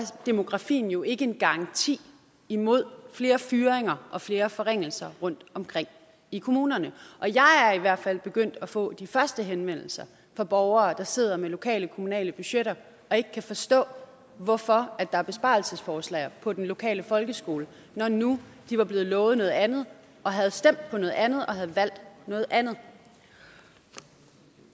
demografien jo ikke en garanti imod flere fyringer og flere forringelser rundtomkring i kommunerne jeg er i hvert fald begyndt at få de første henvendelser fra borgere der sidder med lokale kommunale budgetter og ikke kan forstå hvorfor der er besparelsesforslag på den lokale folkeskole når nu de var blevet lovet noget andet og havde stemt på noget andet og havde valgt noget andet